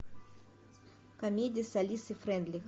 комедии с алисой фрейндлих